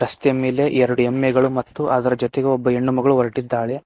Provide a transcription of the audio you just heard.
ರಸ್ತೆಯ ಮೇಲೆ ಎರಡು ಎಮ್ಮೆಗಳು ಮತ್ತು ಅದರ ಜೊತೆಗೆ ಒಬ್ಬ ಹೆಣ್ಣು ಮಗಳು ಹೊರಟಿದ್ದಾಳೆ.